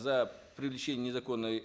за привлечение незаконной